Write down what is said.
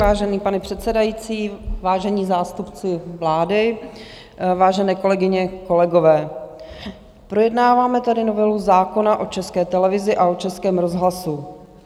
Vážený pane předsedající, vážení zástupci vlády, vážené kolegyně, kolegové, projednáváme tady novelu zákona o České televizi a o Českém rozhlasu.